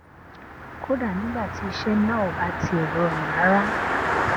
kódà nígbà tí iṣé náà ò bá tiè rọrùn rárá